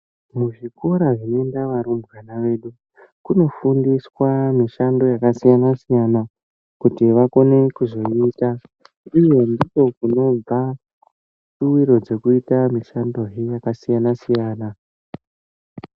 Muzvikora zvinoenda varumbwana vedu, kunofundiswa mishando yakasiyana-siyana, kuti vakone kuzoiita, uye ndiko kunobva shuwiro dzekuita mishandohe yakasiyana-siyana.